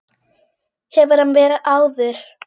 Hefur hann verið áður?